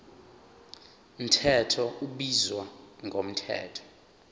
mthetho ubizwa ngomthetho